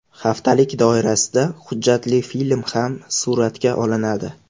Haftalik doirasida hujjatli film ham suratga olinadi.